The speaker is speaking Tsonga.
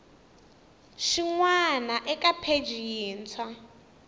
xin wana eka pheji yintshwa